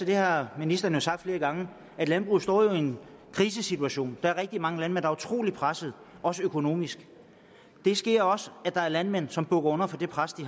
det har ministeren sagt flere gange at landbruget står i en krisesituation der er rigtig mange landmænd der er utrolig presset også økonomisk det sker også at der er landmænd som bukker under for det pres de